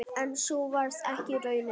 En sú varð ekki raunin.